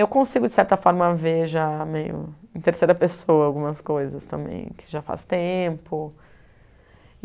Eu consigo, de certa forma, ver já meio em terceira pessoa algumas coisas também, que já faz tempo.